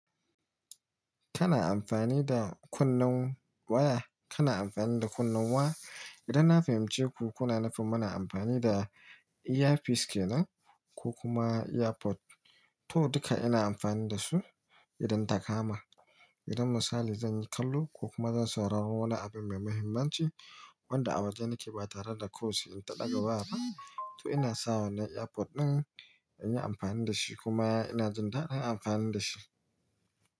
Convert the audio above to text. Kana amfani da kunnen waya, kana amfani da kunnen wa? Idan na fahimci ku, kuna nufin muna amfani da earpiece kenan ko kuma earphone? To duka ina amfani da su idan ta kama. Idan misali zan yi kallo ko kuma zan saurari wani abu mai mahimmanci wanda a waje nake ba tare da kosi in ta ɗaga waya, to ina sa wanan earphone ɗin in yi amfani da shi kuma ina jin dadin amfani da shi.